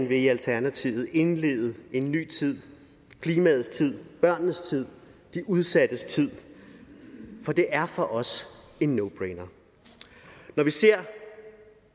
vil i alternativet nemlig indlede en ny tid klimaets tid børnenes tid de udsattes tid for det er for os en no brainer når vi ser